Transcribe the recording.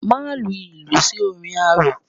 Má lu ìlù sí orin arò.